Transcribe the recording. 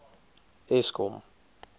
eskom